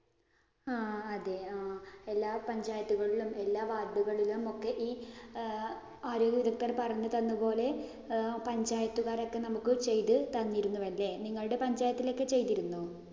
ആ അതേ ആഹ് എല്ലാ പഞ്ചായത്തുകളിലും, എല്ലാ ward ഉകളിലും ഒക്കെ ഈ ആരോഗ്യ വിദഗ്ധർ പറഞ്ഞു തന്ന പോലെ ആഹ് പഞ്ചായത്തുകാരൊക്കെ നമുക്ക് ചെയ്തു തന്നിരുന്നു അല്ലേ. നിങ്ങളുടെ പഞ്ചായത്തിലൊക്കെ ചെയ്തിരുന്നോ?